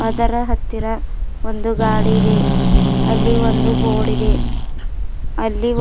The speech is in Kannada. ಅದರ ಹತ್ತಿರ ಒಂದು ಗಾಡಿ ಇದೆ ಅಲ್ಲಿ ಒಂದು ಬೋರ್ಡ್ ಇದೆ ಅಲ್ಲಿ ಒ--